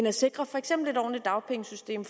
at sikre for eksempel et ordentligt dagpengesystem